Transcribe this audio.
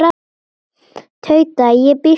Tauta: Ég býst við því.